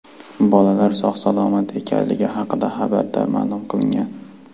Bolalar sog‘-salomat ekanligi haqida xabarda ma’lum qilingan .